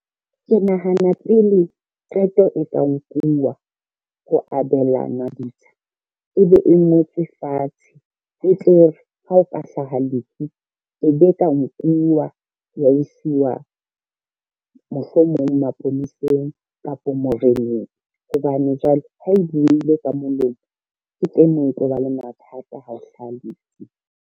Ke nahana pele qeto e tla nkuwa, ho abelanwa ditsha e be e ngotswe fatshe, e tlo re ha o ka hlaha lefu e be ka nkuwa ya wa isiwa mohlomong aponeseng kapa moreneng, hobane jwale ha e buile ka molomo ke teng moo e tlo ba le mathata ha o hlaha lefu.